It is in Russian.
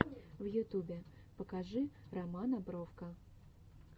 в ютубе покажи романа бровко